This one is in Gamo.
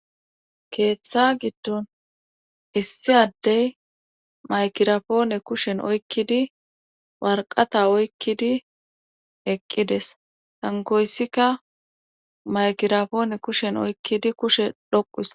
Keeththa giddon hissi addey maykirapoone kushen oykkidi warqata oykkidi eqqides hankoyssika maykirapoone kushen oykkidi kushe dhoqusa.